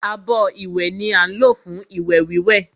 Abọ́ ìwẹ̀ ni á ń lò fún ìwẹ̀ wíwẹ̀